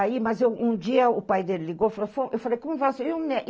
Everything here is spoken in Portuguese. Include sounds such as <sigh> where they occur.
Aí, mas o um dia o pai dele ligou e falou, falou <unintelligible> eu falei, como vai o senhor e o